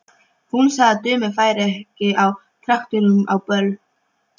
Hún sagði að dömur færu ekki á traktorum á böll.